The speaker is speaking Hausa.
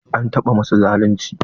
An taɓa masu zalunci?